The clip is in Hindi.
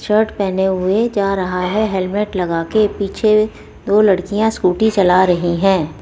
शर्ट पहने हुए जा रहा है हेलमेट लगाके पीछे दो लड़कियां स्कूटी चला रहीं हैं।